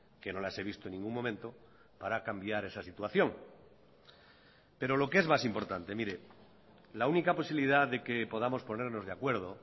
que no las he visto en ningún momento para cambiar esa situación pero lo que es más importante mire la única posibilidad de que podamos ponernos de acuerdo